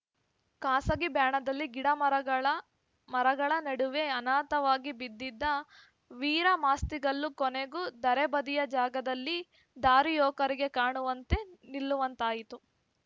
ಖಾಸಗಿ ಬ್ಯಾಣದಲ್ಲಿ ಗಿಡಮರಗಳ ಮರಗಳ ನಡುವೆ ಅನಾಥವಾಗಿ ಬಿದ್ದಿದ್ದ ವೀರಮಾಸ್ತಿಕಲ್ಲು ಕೊನೆಗೂ ಧರೆ ಬದಿಯ ಜಾಗದಲ್ಲಿ ದಾರಿಹೋಕರಿಗೆ ಕಾಣುವಂತೆ ನಿಲ್ಲುವಂತಾಯಿತು